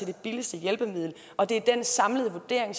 det billigste hjælpemiddel og det er den samlede vurdering